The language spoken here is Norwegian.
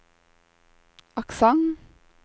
aksent